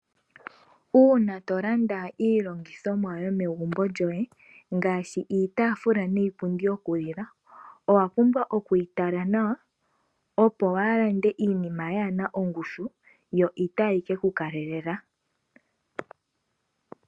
Una tolanda iilongithomwa yomegumbo lyoye ngashi iitafula niipundi yoku lila. Owa pumbwa okuyi tala nawa opo walande iinima yana ongushu yo itayi keku kalela.